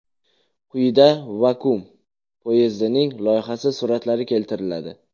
Quyida vakuum poyezdining loyihasi suratlari keltiriladi.